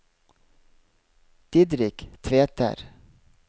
Didrik Tveter